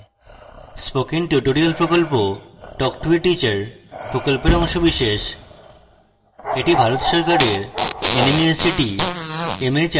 spoken tutorial প্রকল্প talk to a teacher প্রকল্পের অংশবিশেষ এটি ভারত সরকারের nmeict mhrd দ্বারা সমর্থিত